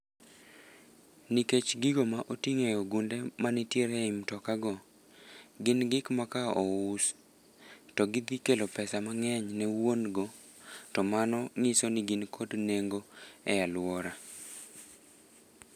Nikech gigo ma oting'o e ogunde manitiere e mtoka go, gin gik ma ka ous, to gidhikelo pesa mang'eny ne wuongo. To mano nyiso ni gin kod nengo e aluora.